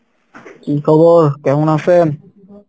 কী খবর, কেমন আছেন?